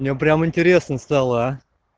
мне прямо интересно стало а